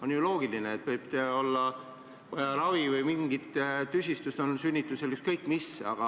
On ju loogiline, et võib olla ravi või mingid tüsistused on sünnitusel või ükskõik mis.